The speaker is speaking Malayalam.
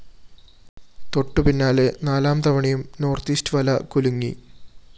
തൊട്ടുപിന്നാലെ നാലാം തവണയും നോർത്ത്‌ ഈസ്റ്റ്‌ വല കുലുങ്ങി